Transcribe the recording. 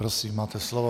Prosím, máte slovo.